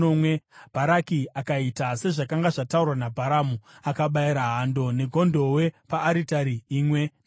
Bharaki akaita sezvakanga zvataurwa naBharamu, akabayira hando negondobwe paaritari imwe neimwe.